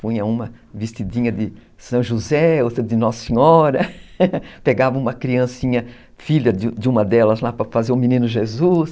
punha uma vestidinha de São José, outra de Nossa Senhora, pegava uma criancinha filha de uma delas lá para fazer o Menino Jesus.